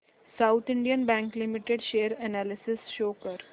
south Indian bank limited share analysis show कर